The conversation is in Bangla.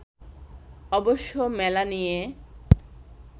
অবশ্য মেলা নিয়ে